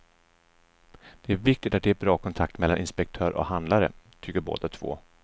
Det är viktigt att det är bra kontakt mellan inspektör och handlare, tycker båda två.